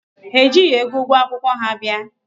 Ha ejighị ego ụgwọ akwụkwọ ha bịa.